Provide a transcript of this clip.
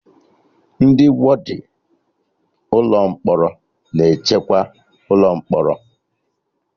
Ndị wọdịn ụlọ mkpọrọ na-echekwa ụlọ mkpọrọ